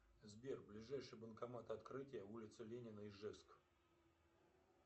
сбер ближайший банкомат открытие улица ленина ижевск